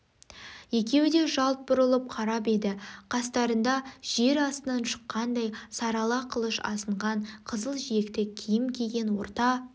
екеуі де жалт бұрылып қарап еді қастарында жер астынан шыққандай сарала қылыш асынған қызыл жиекті киім киген орта